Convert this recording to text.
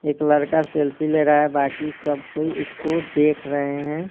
एक लड़का सेल्फी ले रहा है बाकी सब कोई इसको देख रहे हैं।